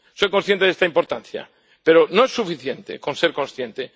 Soy consciente de esta importancia, pero no es suficiente con ser consciente.